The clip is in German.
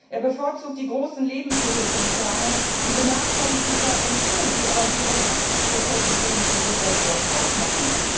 er bevorzugt die großen Lebensmittelkonzerne und benachteiligt die KMU, die aber wiederum 80 des Lebensmittelsektors ausmachen.